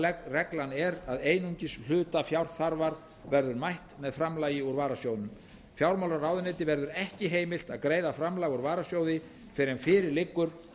almenna reglan er að einungis hluta fjárþarfar verður mætt með framlagi úr varasjóðnum fjármálaráðuneyti verður ekki heimilt að greiða framlag úr varasjóði fyrr en fyrir liggur